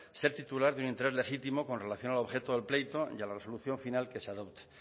ser titular de un interés legítimo con relación al objeto del pleito y a la resolución final que se adopte